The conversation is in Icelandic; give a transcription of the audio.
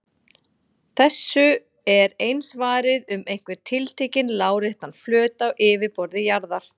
Þessu er eins varið um einhvern tiltekinn láréttan flöt á yfirborði jarðar.